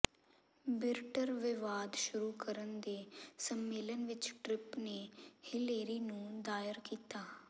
ਬਿਰਟਰ ਵਿਵਾਦ ਸ਼ੁਰੂ ਕਰਨ ਦੇ ਸੰਮੇਲਨ ਵਿੱਚ ਟ੍ਰਿਪ ਨੇ ਹਿਲੇਰੀ ਨੂੰ ਦਾਇਰ ਕੀਤਾ